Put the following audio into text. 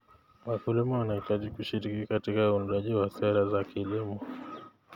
Wakulima wanahitaji kushiriki katika uundaji wa sera za kilimo.